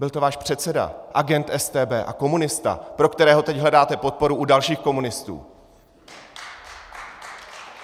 Byl to váš předseda, agent StB a komunista, pro kterého teď hledáte podporu u dalších komunistů!